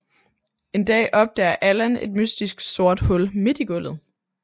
En dag opdager Allan et mystisk sort hul midt i gulvet